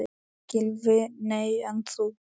Gylfi: Nei en þú?